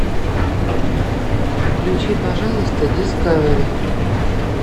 включи пожалуйста дискавери